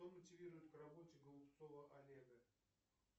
кто мотивирует к работе голубцова олега